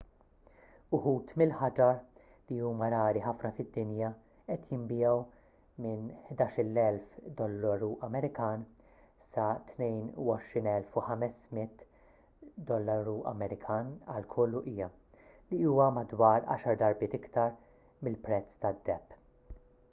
uħud mill-ħaġar li huma rari ħafna fid-dinja qed jinbiegħu minn us$11,000 sa $22,500 għal kull uqija li huwa madwar għaxar darbiet iktar mill-prezz tad-deheb